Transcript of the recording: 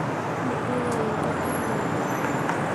Mitugo ĩngĩ ti miega